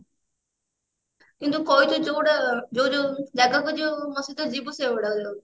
ମିନତୁ କହିଛୁ ଯୋଉଟା ଯୋଉ ଯୋଉ ଜାଗାକୁ ଯୋଉ ମୋ ସହିତ ଯିବୁ ସେଗୁଡାକ